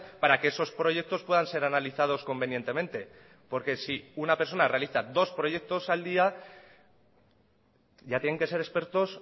para que esos proyectos puedan ser analizados convenientemente porque si una persona realiza dos proyectos al día ya tienen que ser expertos